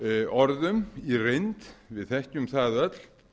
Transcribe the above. orðum í reynd við þekkjum það öll